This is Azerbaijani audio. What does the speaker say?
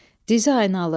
Dizi əyranalı.